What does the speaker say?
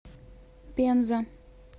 пенза